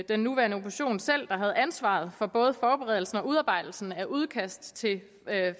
den nuværende opposition selv der havde ansvaret for både forberedelsen og udarbejdelsen af udkast til